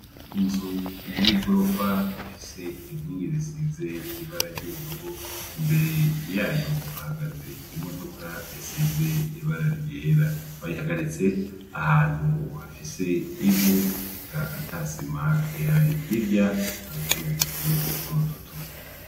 Inzu y'igorofa ifise inkingi risize ibara ry'ubururu imbere yayo hahagaze imodoka isize ibara ryera, bayihagaritse ahantu hafise ivu eka ntasima ihari, hirya hari utundi tuzu dutoduto.